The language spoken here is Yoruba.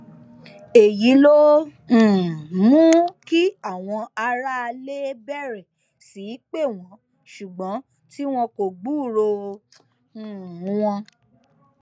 èyí ló um mú kí àwọn aráalé bẹrẹ sí í pè wọn ṣùgbọn tí wọn kò gbúròó um wọn